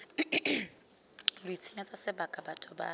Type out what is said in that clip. lo itshenyetsa sebaka batho bale